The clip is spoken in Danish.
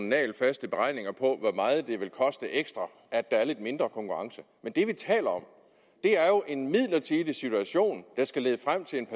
nagelfaste beregninger på hvor meget det vil koste ekstra at der er lidt mindre konkurrence men det vi taler om er jo en midlertidig situation der skal lede frem til en